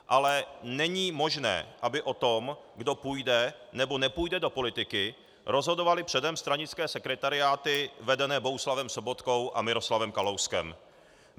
Ale není možné, aby o tom, kdo půjde nebo nepůjde do politiky, rozhodovaly předem stranické sekretariáty vedené Bohuslavem Sobotkou a Miroslavem Kalouskem.